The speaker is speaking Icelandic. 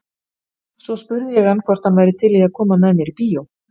Svo spurði ég hann hvort hann væri til í að koma með mér í bíó.